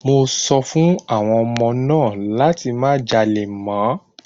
Mo sọ fún àwọn ọmọ náà láti má jalè mọ́!